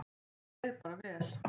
Mér leið bara vel.